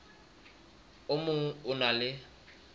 o mong o na le